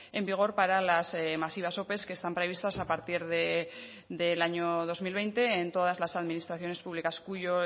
en vigor para las masivas ope que están previstas a partir del año dos mil veinte en todas las administraciones públicas cuyo